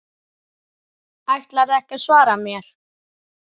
Ætlarðu ekki að svara mér?